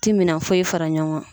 Ti minɛn foyi fara ɲɔgɔn kan.